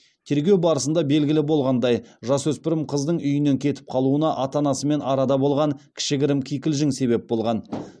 тергеу барысында белгілі болғандай жасөспірім қыздың үйінен кетіп қалуына ата анасымен арада болған кішігірім кикілжің себеп болған